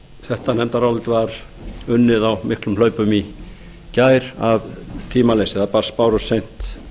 þetta nefndarálit var unnið á miklum hlaupum í gær af tímaleysi það bárust seint